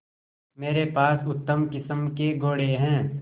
मेरे पास उत्तम किस्म के घोड़े हैं